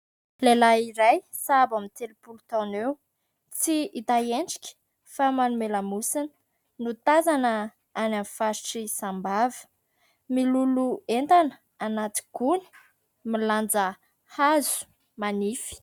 Lehilay iray sahabo amin'ny telopolo taona eo, tsy hita endrika fa manome lamosina, no tazana any amin'ny faritry Sambava, miloloha entana anaty gony, milanja hazo manify.